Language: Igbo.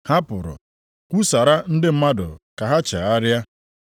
Ha pụrụ kwusara ndị mmadụ ka ha chegharịa.